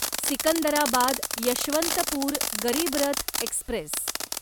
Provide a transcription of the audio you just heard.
Secunderabad Yeshwantpur Garib Rath Express